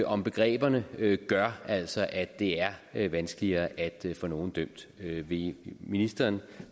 om begreberne gør altså at det er er vanskeligere at få nogen dømt vil ministeren